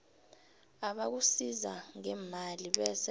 abakusiza ngemali bese